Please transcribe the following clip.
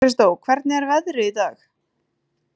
Kristó, hvernig er veðrið í dag?